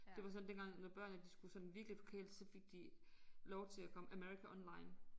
Det var sådan dengang når børnene de skulle sådan virkelig forkæles så fik de lov til at komme America Online